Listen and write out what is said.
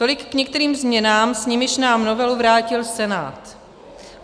Tolik k některým změnám, s nimiž nám novelu vrátil Senát.